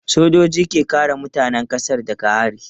Sojoji ke kare mutanen kasa daga hari.